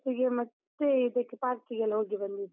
Falls ಗೆ ಮತ್ತೆ, ಇದಕ್ಕೆ park ಗೆಲ್ಲ ಹೋಗಿ ಬಂದಿದ್ವಿ.